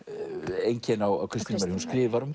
einkenni á Kristínu Marju hún skrifar um